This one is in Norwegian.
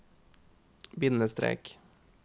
bindestrek